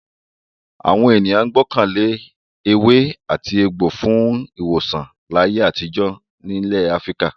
Àwọn ènìyàn gbọ́kàn lé ewé-àtegbò fún ìwòsàn láyé àtijọ́ nílẹ̀ Áfíríkà.